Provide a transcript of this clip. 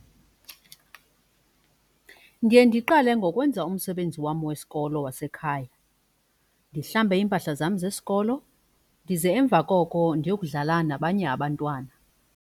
Ndiye ndiqale ngokwenza umsebenzi wam wesikolo wasekhaya, ndihlambe iimpahla zam zesikolo ndize emva koko ndiyokudlala nabanye abantwana.